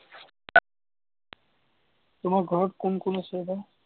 তোমাৰ ঘৰত কোন কোন আছে বা?